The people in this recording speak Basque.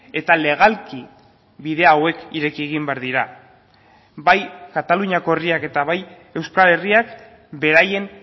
eta legalki bide hauek ireki egin behar dira bai kataluniako herriak eta bai euskal herriak beraien